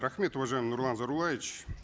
рахмет уважаемый нурлан зайроллаевич